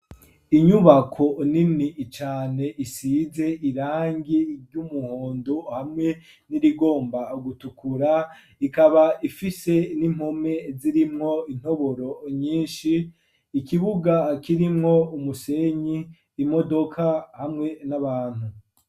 Inyubako nini cane, isize irangi ry'umuhondo, hamwe n'irigomba gutukura; ikaba ifise n'impome, zirimwo intoboro nyinshi; ikibuga, kirimwo umusenyi, imodoka, hamwe n'abantu.